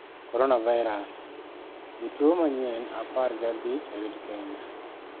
Coronavirus: Jotuo manyien apaer gi abich oyud Kenya